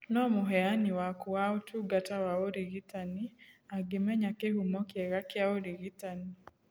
No mũheani waku wa ũtungata wa ũrigitani angĩmenya kĩhumo kĩega kĩa ũrigitani